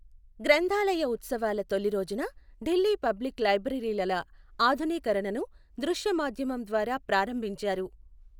గ్రంథాలయ ఉత్సవాల తొలి రోజున ఢిల్లీ పబ్లిక్ లైబ్రరీలల ఆధునీకరణను దృశ్యమాధ్యమం ద్వారా ప్రారంభించారు.